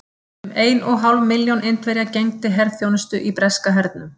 Um ein og hálf milljón Indverja gegndi herþjónustu í breska hernum.